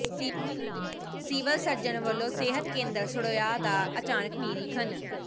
civil surgeon ਵਲੋਂ ਸਿਹਤ ਕੇਂਦਰ ਸੜੋਆ ਦਾ ਅਚਾਨਕ ਨਿਰੀਖਣ